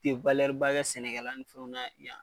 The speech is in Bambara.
U tɛ ba kɛ sɛnɛkɛla ni fɛnw na yan.